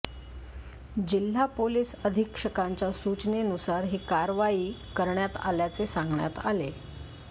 जिल्हा पोलीस अधीक्षकांच्या सूचनेनुसार ही कारवाई करण्यात आल्याचे सांगण्यात आले